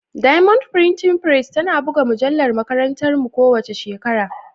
Diamond Printing Press tana buga mujallar makarantarmu kowace shekara.